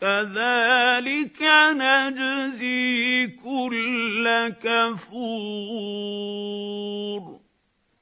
كَذَٰلِكَ نَجْزِي كُلَّ كَفُورٍ